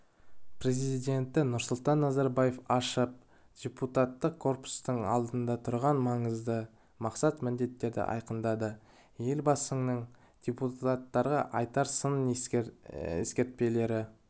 президенті нұрсұлтан назарбаев ашып депутаттық корпустың алдында тұрған маңызды мақсат-міндеттерді айқындады елбасының депутаттарға айтар сын-ескертпелері